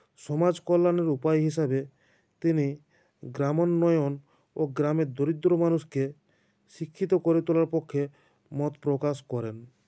সমাজ কল্যাণের উপায় হিসাবে তিনি গ্রামোন্নয়ন ও গ্রামের দরিদ্র মানুষকে শিক্ষিত করে তোলার পক্ষে মত প্রকাশ করেন